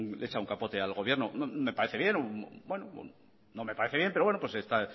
le echa un capote al gobierno me parece bien no me parece bien pero bueno está